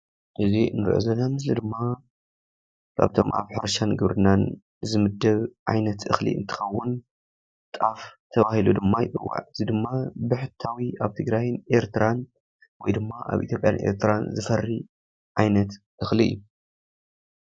እዚ እንሪኦ ዘለና ምስሊ ድማ ካብቶም ኣብ ሕርሻ ግብርና ዝምደብ ዓይነት እኽሊ እንትኸውን ጣፍ ተባሂሉ ድማ ይፅዋዕ ። እዚ ድማ ብሕታውን ኣብ ትግራይን ኤርትራን ወይ ድማ ኣብ ኢትዮጰያን ኤርትራን ዝፈሪ ዓይነት እኽሊ እዩ።